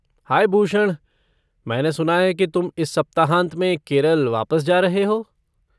हाय भूषण, मैंने सुना है कि तुम इस सप्ताहांत में केरल वापस जा रहे हो?